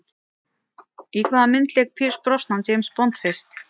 Í hvaða mynd lék Pierce Brosnan James Bond fyrst?